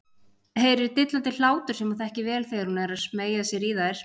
Heyrir dillandi hlátur sem hún þekkir vel þegar hún er að smeygja sér í þær.